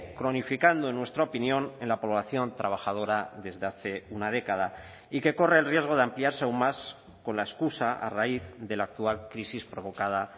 cronificando en nuestra opinión en la población trabajadora desde hace una década y que corre el riesgo de ampliarse aun más con la excusa a raíz de la actual crisis provocada